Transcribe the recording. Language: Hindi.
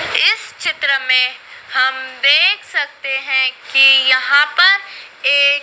इस चित्र में हम देख सकते हैं कि यहां पर एक--